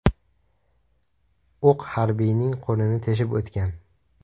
O‘q harbiyning qo‘lini teshib o‘tgan.